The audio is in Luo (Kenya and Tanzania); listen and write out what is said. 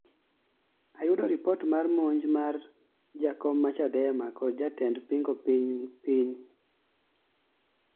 ayudo ripot mar monj mar jakom ma Chadema kod jatend pingo piny Mh